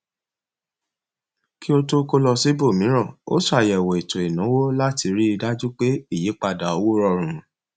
kí ó tó kó lọ síbòmíràn ó ṣàyẹwò ètò ìnáwó láti ríi dájú pé ìyípadà owó rọrùn